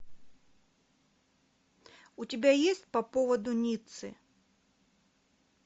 у тебя есть по поводу ниццы